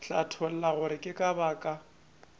hlatholla gore ke ka baka